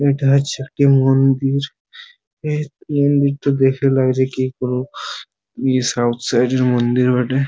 এইটা হচ্ছে একটি মন্দির এই মন্দিরটা দেখে লাগছে কি কোনো ই সাউথ সাইড -এর মন্দির বটে-এ ।